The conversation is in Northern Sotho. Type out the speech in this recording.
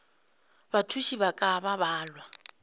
bathuši ba ka ba balwa